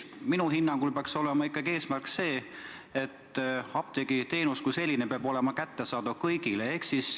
Minu hinnangul peaks eesmärk olema see, et apteegiteenus kui selline peab olema kättesaadav kõigile.